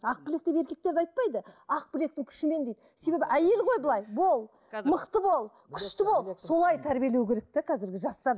ақ білек деп еркектерді айтпайды ақ білектің күшімен дейді себебі әйел ғой былай бол мықты бол күшті бол солай тәрбиелеу керек те қазіргі жастар